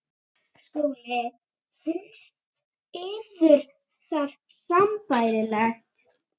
SKÚLI: Finnst yður það sambærilegt?